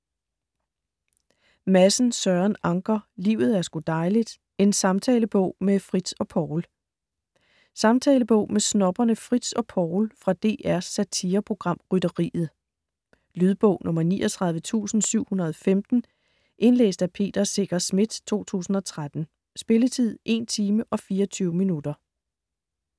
Madsen, Søren Anker: Livet er sgu dejligt: en samtalebog med Fritz og Poul Samtalebog med snobberne Fritz og Poul fra DRs satireprogram Rytteriet. Lydbog 39715 Indlæst af Peter Secher Schmidt, 2013. Spilletid: 1 timer, 24 minutter.